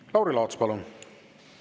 Lauri Laats, palun!